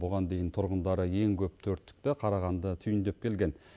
бұған дейін тұрғындары ең көп төрттікті қарағанды түйіндеп келген